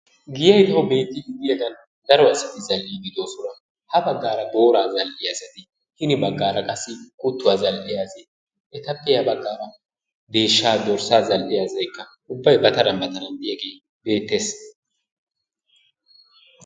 Giyayi coo beettiiddi diyagan daro asati zall"iiddi de"oosona. Ha baggaara booraa zall"iya asati hini baggaara qassi kuttuwa asayi etappe ya baggaara deeshshaa dorssaa zall"iya asayi ubbaykka ba taran ba taran de"iyagee beettes.